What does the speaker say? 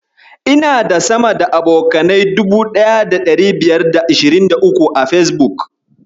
Ina da sama da abokanai 1523 a Fesbuk.